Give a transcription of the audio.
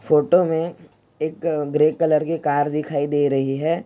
photo में एक grey colour की कार दिखाई दे रही है|